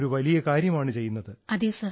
it's great service he is doing